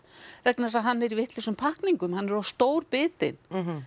vegna þess að hann er í vitlausum pakkningum hann er of stór bitinn